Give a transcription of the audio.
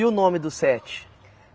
E o nome dos sete?